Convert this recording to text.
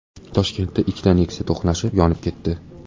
Toshkentda ikkita Nexia to‘qnashib, yonib ketdi .